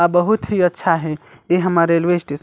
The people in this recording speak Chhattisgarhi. अ बहोत ही अच्छा हे ए हमर रेलवे स्टेशन --